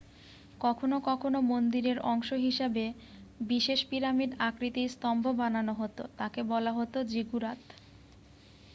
কখনো কখনো মন্দিরের অংশ হিসেবে বিশেষ পিরামিড আকৃতির স্তম্ভ বানানো হতো তাকে বলা হতো জিগুরাত